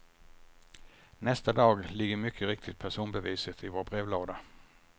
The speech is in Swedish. Nästa dag ligger mycket riktigt personbeviset i vår brevlåda.